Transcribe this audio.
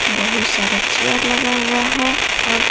बहुत सारा चेयर लगा हुआ है और--